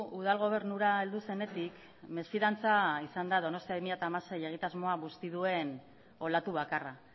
udal gobernura heldu zenetik mesfidantza izan da donostia bi mila hamasei egitasmoa busti duen olatu bakarra